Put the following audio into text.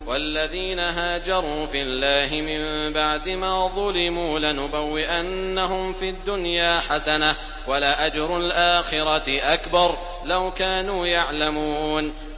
وَالَّذِينَ هَاجَرُوا فِي اللَّهِ مِن بَعْدِ مَا ظُلِمُوا لَنُبَوِّئَنَّهُمْ فِي الدُّنْيَا حَسَنَةً ۖ وَلَأَجْرُ الْآخِرَةِ أَكْبَرُ ۚ لَوْ كَانُوا يَعْلَمُونَ